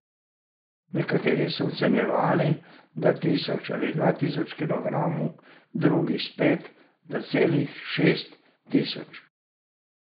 Nekateri so ocenjevali, da tisoč ali dva tisoč kilogramov, drugi spet, da celih šest tisoč.